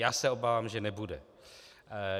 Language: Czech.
Já se obávám, že nebude.